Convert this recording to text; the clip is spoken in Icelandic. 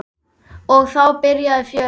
Og þá byrjaði fjörið.